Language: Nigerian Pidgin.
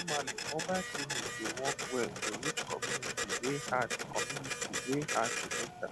normally mobile clinic dey work well to reach community wey hard community wey hard to enter